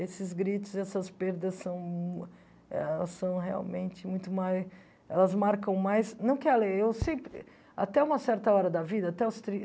Esses gritos, essas perdas são ah são realmente muito mais... Elas marcam mais... Não que a lei eu si... Até uma certa hora da vida até os trin